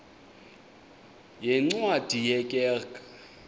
yeencwadi ye kerk